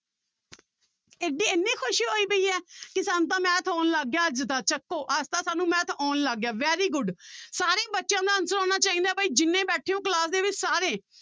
ਇੱਡੀ ਇੰਨੇ ਖ਼ੁਸ਼ੀ ਹੋਈ ਪਈ ਹੈ ਕਿ ਸਾਨੂੰ ਤਾਂ math ਆਉਣ ਲੱਗ ਗਿਆ ਅੱਜ ਤਾਂ ਚੁੱਕੋ ਅੱਜ ਤਾਂ ਸਾਨੂੰ math ਆਉਣ ਲੱਗ ਗਿਆ very good ਸਾਰੇ ਬੱਚਿਆਂ ਦਾ answer ਆਉਣਾ ਚਾਹੀਦਾ ਹੈ ਬਾਈ ਜਿੰਨੇ ਬੈਠੇ ਹੋ class ਦੇ ਵਿੱਚ ਸਾਰੇ।